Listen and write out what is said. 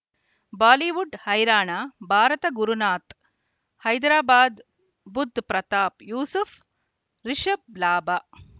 Bollywood ಹೈರಾಣ ಭಾರತ ಗುರುನಾಥ ಹೈದರಾಬಾದ್ ಬುಧ್ ಪ್ರತಾಪ್ ಯೂಸುಫ್ ರಿಷಬ್ ಲಾಭ